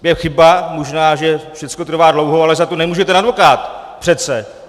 Je chyba možná, že všechno trvá dlouho, ale za to nemůže ten advokát přece.